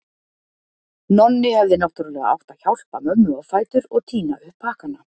Nonni hefði náttúrlega átt að hjálpa mömmu á fætur og tína upp pakkana.